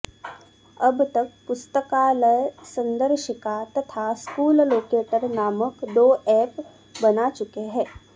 अब तक पुस्तकालय संदर्शिका तथा स्कूल लोकेटर नामक दो ऐप बना चुके हैं